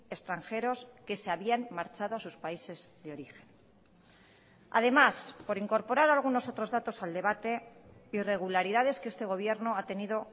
extranjeros que se habían marchado a sus países de origen además por incorporar algunos otros datos al debate irregularidades que este gobierno ha tenido